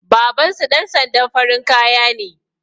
Babansu ɗan sandan farin kaya ne